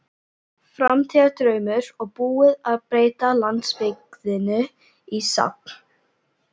Framtíðardraumur og búið að breyta landsbyggðinni í safn.